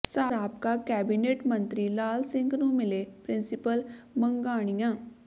ਸਾਬਕਾ ਕੈਬਨਿਟ ਮੰਤਰੀ ਲਾਲ ਸਿੰਘ ਨੂੰ ਮਿਲੇ ਪ੍ਰਿੰਸੀਪਲ ਮੰਘਾਂਣੀਆਂ